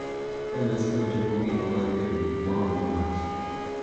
Ka nyasino chopo giko mar keto gik ma wang’o mach,